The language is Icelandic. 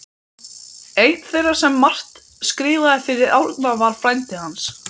Einn þeirra sem margt skrifaði fyrir Árna var frændi hans